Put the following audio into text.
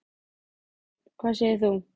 Þorbjörn: Hvað segir þú?